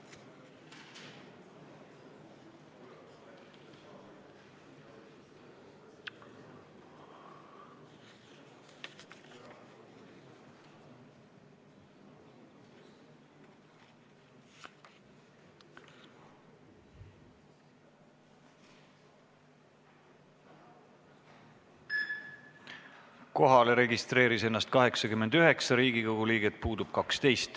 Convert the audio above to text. Kohaloleku kontroll Kohalolijaks registreeris ennast 89 Riigikogu liiget, puudub 12.